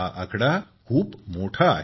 हा आकडा खूप मोठा आहे